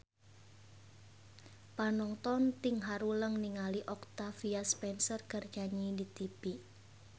Panonton ting haruleng ningali Octavia Spencer keur nyanyi di tipi